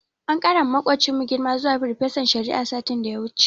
An ƙarawa maƙocinmu girma zuwa farfesan shari'a, satin da ya wuce.